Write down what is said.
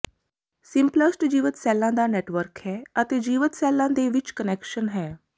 symplast ਜੀਵਤ ਸੈੱਲਾਂ ਦਾ ਨੈਟਵਰਕ ਹੈ ਅਤੇ ਜੀਵਤ ਸੈੱਲਾਂ ਦੇ ਵਿੱਚ ਕਨੈਕਸ਼ਨ ਹੈ